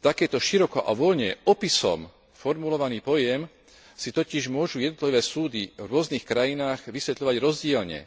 Takýto široko a voľne opisom formulovaný pojem si totiž môžu jednotlivé súdy v rôznych krajinách vysvetľovať rozdielne,